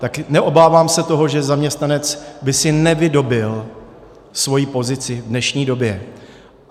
Tak neobávám se toho, že zaměstnanec by si nevydobyl svoji pozici v dnešní době.